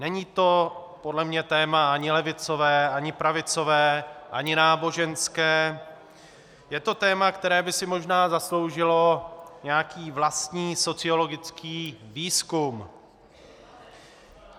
Není to podle mě téma ani levicové, ani pravicové, ani náboženské, je to téma, která by si možná zasloužilo nějaký vlastní sociologický výzkum.